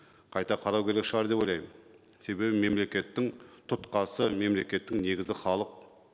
қайта қарау керек шығар деп ойлаймын себебі мемлекеттің тұтқасы мемлекеттің негізі халық